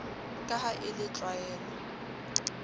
ka ha e le tlwaelovv